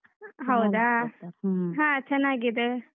ಹಾ ಚನ್ನಾಗಿದೆ.